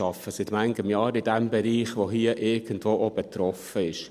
Ich arbeite seit vielen Jahren in dem Bereich, der hier irgendwo auch betroffen ist.